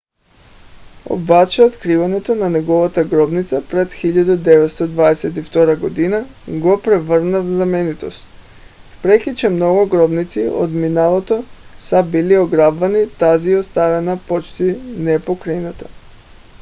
обаче откриването на неговата гробница през 1922 г. го превърна в знаменитост. въпреки че много гробници от миналото са били ограбвани тази е оставена почти непокътната